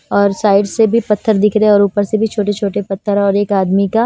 और साइड से भी पत्थर दिख रहे हैं और ऊपर से भी छोटे-छोटे पत्थर और एक आदमी का--